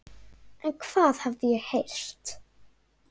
En hvað hafði ég heyrt?